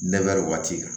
waati kan